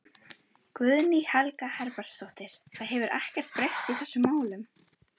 Guðný Helga Herbertsdóttir: Það hefur ekkert breyst í þessum málum?